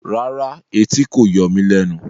Rárá, ẹtì kò yọ mí lẹnu